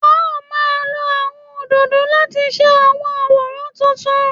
A ó máa lo àwọn òdòdó láti ṣe àwọn àwòrán tuntun